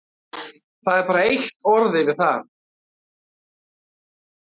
Það er bara eitt orð yfir það.